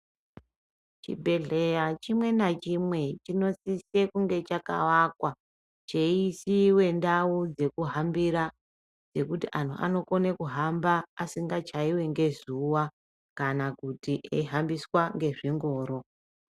Chibhedhleya chimwe nachimwe chinosise kunge chakawakwa cheisiwe ndau dzekuhambira dzekuti anthu anokone kuhamba asingachaiwi ngezuwa kana kuti eihambiswa ngezvingoro.